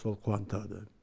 сол қуантады